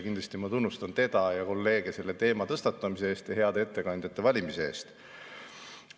Kindlasti ma tunnustan teda ja kolleege selle teema tõstatamise eest ja heade ettekandjate valimise eest.